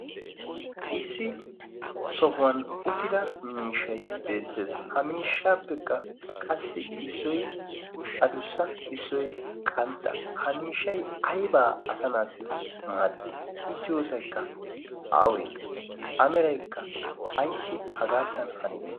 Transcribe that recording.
issi sohuwan uttida miishay beettees ha miishshaappekka qassi issoy adussa issoy qantta ha miishay aybaa asanaassi maaddiid diyoosaykka aawe ameraykka ayssi hagaattan hanide